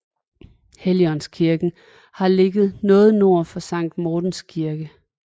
Helligåndsklosteret har ligget noget nord for Sankt Mortens Kirke